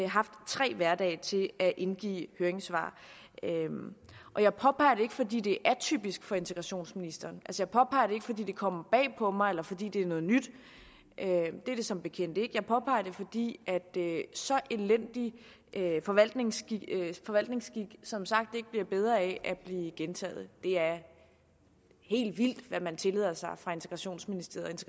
haft tre hverdage til at indgive høringssvar jeg påpeger det ikke fordi det er atypisk for integrationsministeren jeg påpeger det ikke fordi det kommer bag på mig eller fordi det er noget nyt det er som bekendt ikke jeg påpeger det fordi så elendig forvaltningsskik forvaltningsskik som sagt ikke bliver bedre af at blive gentaget det er helt vildt hvad man tillader sig fra integrationsministeriet